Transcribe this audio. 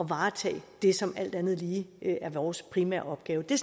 varetage det som alt andet lige er vores primære opgave det